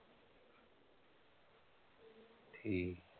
ਠੀਕ।